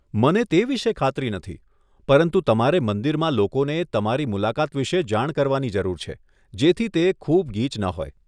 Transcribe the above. મને તે વિશે ખાતરી નથી પરંતુ તમારે મંદિરમાં લોકોને તમારી મુલાકાત વિશે જાણ કરવાની જરૂર છે જેથી તે ખૂબ ગીચ ન હોય.